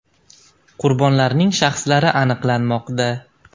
Qurbonlarning shaxslari aniqlanmoqda.